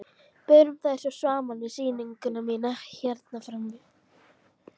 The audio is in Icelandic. Berum þær svo saman við sýninguna mína hérna frammi.